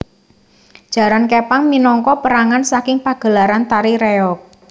Jaran Képang minangka pérangan saking pagelaran tari reog